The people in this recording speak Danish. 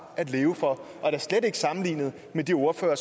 at leve for og da slet ikke sammenlignet med de ordførere